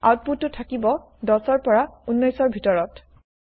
আউতপুতটো থাকিব ১০ ৰ পৰা ১৯ ৰ ভিতৰত